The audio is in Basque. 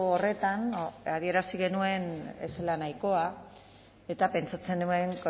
horretan adierazi genuen ez zela nahikoa eta pentsatzen nuen